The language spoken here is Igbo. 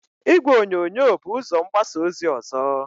Igwe onyonyo bu ụzó mgbasa ozi ọzọ.